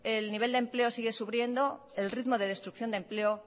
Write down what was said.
el nivel de empleo sigue sufriendo el ritmo de destrucción de empleo